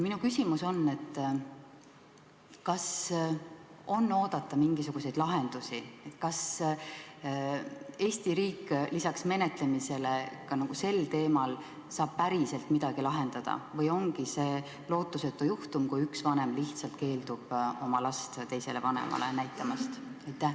Kas on oodata mingisuguseid lahendusi, kas Eesti riik lisaks menetlemisele saab sel teemal päriselt midagi ära lahendada, või ongi see lootusetu juhtum, kui üks vanem lihtsalt keeldub last teisele vanemale näitamast?